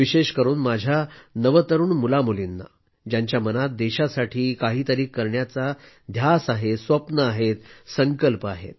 विशेष करून माझ्या नवतरुण मुलामुलींना ज्यांच्या मनात देशासाठी काहीतरी करण्याचा ध्यास आहे स्वप्न आहेत संकल्प आहेत